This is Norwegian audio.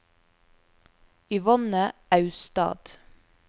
Yvonne Austad